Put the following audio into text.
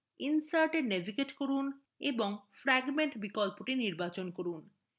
insert এ navigate করুন এবং fragment বিকল্পটি নির্বাচন করুন